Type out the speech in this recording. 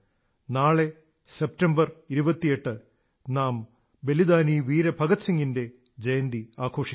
നാളെ 28 സെപ്റ്റംബറിന് നാം ബലിദാനി വീര ഭഗത് സിംഗിന്റെ ജയന്തി ആഘോഷിക്കും